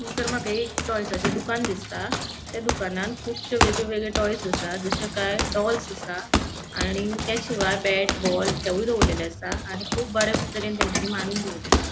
हांगासर माका एक टॉयसा चे दुकान दिसता त्या दुकानान कुबशे वेगळे वेगळे टॉयस आसा जशे काय डॉल्स आसा आणि त्याशिवाय बॅट बॉल हेउय दोवोरलेले आसा आणि खूप बरे तरेन तेन्चानी माणून दोरलेले आसा.